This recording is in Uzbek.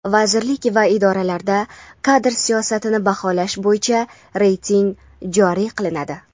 Vazirlik va idoralarda kadr siyosatini baholash bo‘yicha reyting joriy qilinadi.